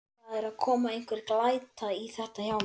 Það er að koma einhver glæta í þetta hjá mér.